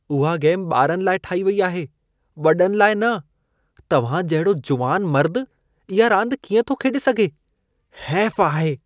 उहा गेम ॿारनि लाइ ठाही वई आहे। वॾनि लाइ न! तव्हां जहिड़ो जुवान मर्द इहा रांदि कीअं थो खेॾे सघे? हैफ आहे!